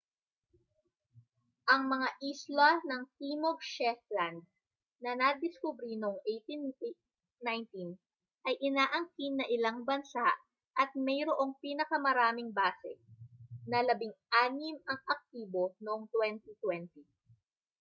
ang mga isla ng timog shetland na nadiskubre noong 1819 ay inaangkin ng ilang bansa at mayroong pinakamaraming base na labing-anim ang aktibo noong 2020